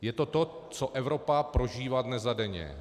Je to to, co Evropa prožívá dnes a denně.